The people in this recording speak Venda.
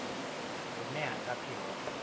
hune ha nga pfi ho